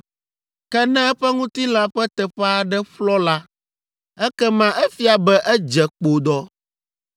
Ke ne eƒe ŋutilã ƒe teƒe aɖe ƒlɔ la, ekema efia be edze kpodɔ.